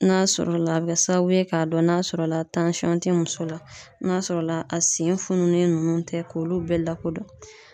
N'a sɔrɔ la a bɛ kɛ sababu ye k'a dɔn n'a sɔrɔ la tɛ muso la n'a sɔrɔ la a sen fununen ninnu tɛ k'olu bɛɛ lakodɔn.